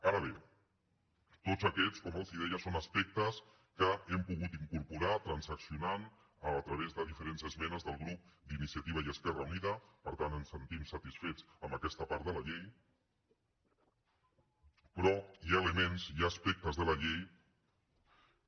ara bé tots aquests com els deia són aspectes que hem pogut incorporar transaccionant a través de diferents esmenes del grup d’iniciativa i esquerra unida per tant ens sentim satisfets amb aquesta part de la llei però hi ha elements hi ha aspectes de la llei que